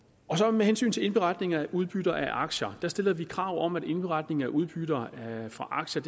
med hensyn til indberetning af udbytter af aktier stiller vi krav om at indberetning af udbytter af aktier